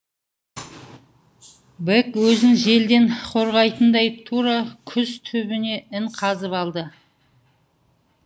бэк өзін желден қорғайтындай тура күз түбінен ін қазып алды